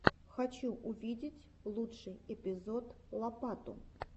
хочу увидеть лучший эпизод лопалу